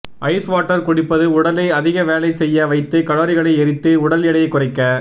ice water குடிப்பது உடலை அதிக வேலை செய்ய வைத்து கலோரிகளை எரித்து உடல் எடையை குறைக்க